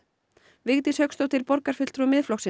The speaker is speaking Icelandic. Vigdís Hauksdóttir borgarfulltrúi Miðflokksins